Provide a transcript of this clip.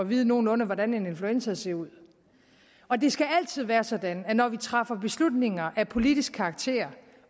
vide nogenlunde hvordan en influenza ser ud og det skal altid være sådan at når vi træffer beslutninger af politisk karakter